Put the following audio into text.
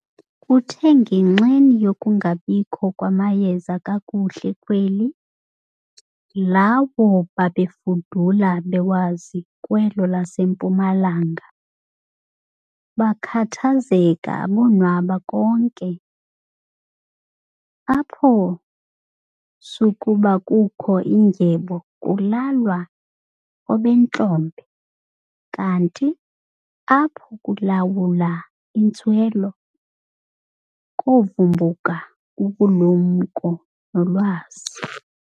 Kuthe ngenxeni yokungabikho kwamayeza kakuhle kweli, lawo babefudula bewazi kwelo lasempuma-langa, bakhathazeka abonwaba konke. Apho sukuba kukho indyebo kulalwa obentlombe, kanti apho kulawula intswelo kovumbuluka ubulumko nolwazi.